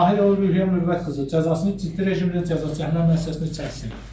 Tahirova Ruhiyyə Mürvət qızı cəzasını ciddi rejimli cəzaçəkmə müəssisəsində çəksin.